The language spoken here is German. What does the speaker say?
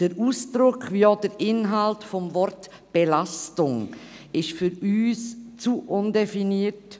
Das Wort «Belastung» ist vom Ausdruck wie auch vom Inhalt her für uns zu undefiniert;